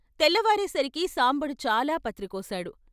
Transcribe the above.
తెల్లవారేసరికి సాంబడు చాలా పత్రి కోశాడు.